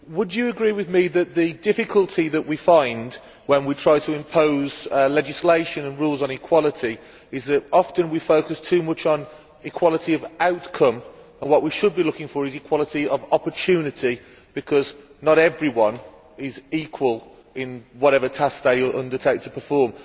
Would you agree with me that the difficulty that we find when we try to impose legislation and rules on equality is that often we focus too much on equality of outcome, whereas what we should be looking for is equality of opportunity, because not everyone is equal in whatever task they undertake to perform?